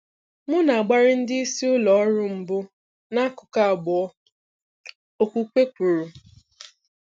M na-agbari ndị isi ụlọ ọrụ mbụ n'akụkụ abụọ,' Okwukwe kwuru.